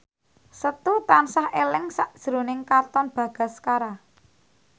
Setu tansah eling sakjroning Katon Bagaskara